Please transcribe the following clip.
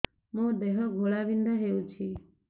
ମୋ ଦେହ ଘୋଳାବିନ୍ଧା ହେଉଛି